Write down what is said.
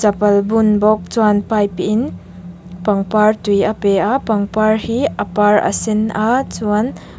pal bun bawk chuan pipe in pangpar tui a pe a pangpar hi a par a sen a chuan--